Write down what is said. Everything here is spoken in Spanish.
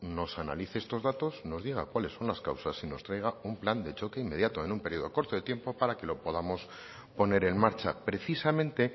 nos analice estos datos nos diga cuales son las causas y nos traiga un plan de choque inmediato en un periodo corto de tiempo para que lo podamos poner en marcha precisamente